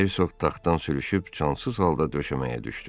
Hersoq taxtdan sürüşüb cansız halda döşəməyə düşdü.